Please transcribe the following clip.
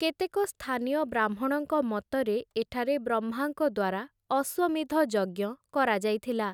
କେତେକ ସ୍ଥାନୀୟ ବ୍ରାହ୍ମଣଙ୍କ ମତରେ ଏଠାରେ ବ୍ରହ୍ମାଙ୍କ ଦ୍ୱାରା ଅଶ୍ୱମେଧ ଯଜ୍ଞ କରାଯାଇଥିଲା ।